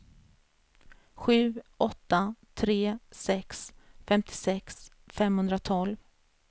sju åtta tre sex femtiosex femhundratolv